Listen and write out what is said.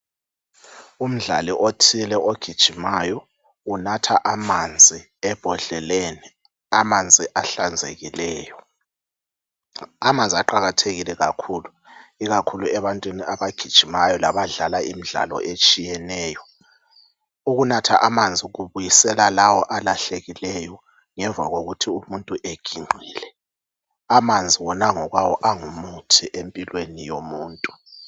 Umdlali othile ogijimayo, unatha amanzi ebhodleleni, amanzi ahlanzekileyo. Amanzi aqakathekile kakhulu, ikakhulu ebantwini abagijimayo labadlala imidlalo etshiyeneyo. Ukunatha amanzi kubisela lawo alahlekileyo ngemva wokuthi umuntu eginqile. Amanzi wona ngokwawo angumuthi empilweni yomuntu.